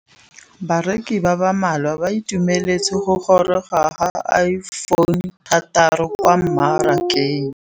Bareki ba ba malwa ba ituemeletse go gôrôga ga Iphone6 kwa mmarakeng.